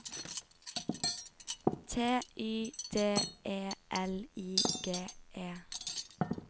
T Y D E L I G E